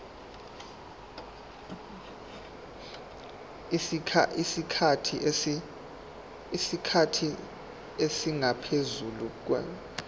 isikhathi esingaphezu konyaka